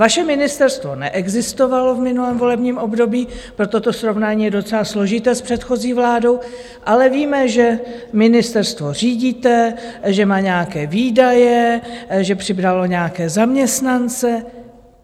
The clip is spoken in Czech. Vaše ministerstvo neexistovalo v minulém volebním období, proto to srovnání je docela složité s předchozí vládu, ale víme, že ministerstvo řídíte, že má nějaké výdaje, že přibralo nějaké zaměstnance.